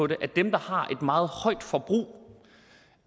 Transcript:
det at dem der har et meget højt forbrug